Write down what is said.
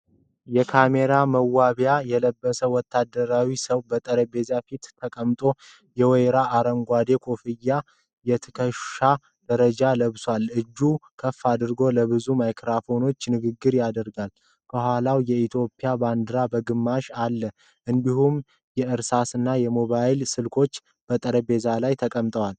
የካሜራ መዋቢያ የለበሰ ወታደራዊ ሰው በጠረጴዛ ፊት ተቀምጧል። የወይራ አረንጓዴ ኮፍያና የትከሻ ደረጃዎችን ለብሷል። እጁን ከፍ አድርጎ ለብዙ ማይክሮፎኖች ንግግር ያደርጋል። ከኋላው የኢትዮጵያ ባንዲራ በግማሽ አለ፤ እንዲሁም የእርሳስና የሞባይል ስልኮች በጠረጴዛው ላይ ተቀምጠዋል፡፡